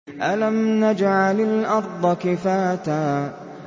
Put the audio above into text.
أَلَمْ نَجْعَلِ الْأَرْضَ كِفَاتًا